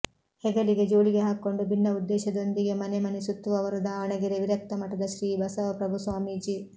ಹೆಗಲಿಗೆ ಜೋಳಿಗೆ ಹಾಕಿಕೊಂಡು ಭಿನ್ನ ಉದ್ದೇಶದೊಂದಿಗೆ ಮನೆ ಮನೆ ಸುತ್ತುವವರು ದಾವಣಗೆರೆ ವಿರಕ್ತ ಮಠದ ಶ್ರೀ ಬಸವಪ್ರಭು ಸ್ವಾಮೀಜಿ